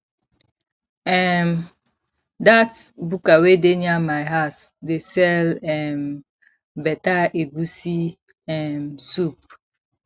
um dat buka wey dey near my house dey sell um beta egusi um soup